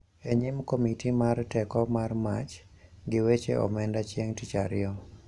E nyim komiti mar Teko mar mach gi weche Omenda chieng' Tich Ariyo,